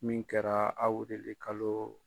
Min kɛra awirilikalo.